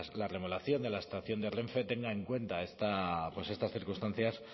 la remodelación de la estación de renfe tenga en cuenta estas circunstancias